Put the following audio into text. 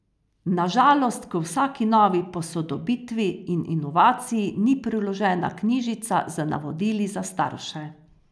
Na žalost k vsaki novi posodobitvi in inovaciji ni priložena knjižica z navodili za starše.